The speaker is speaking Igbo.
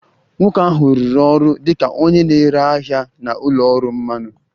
Nwoke ahụ rụrụ ọrụ dị ka onye na-ere ahịa na ụlọ ọrụ mmanụ